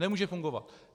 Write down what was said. Nemůže fungovat.